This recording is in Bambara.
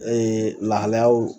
lahalayaw